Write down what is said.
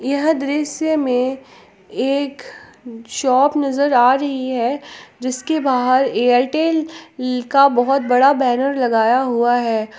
यह दृश्य में एक जाप नजर आ रही है जिसके बाहर एयरटेल का बहोत बड़ा बैनर लगाया हुआ है।